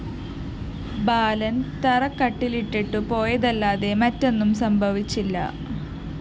ബാലന്‍ തറക്കല്ലിട്ടിട്ടു പോയതല്ലാതെ മറ്റൊന്നും സംഭവിച്ചില്ല